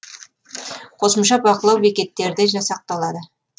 қосымша бақылау бекеттері де жасақталады